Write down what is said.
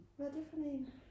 hvad er det for en